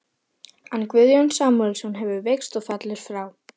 En Guðjón Samúelsson hefur veikst og fellur frá.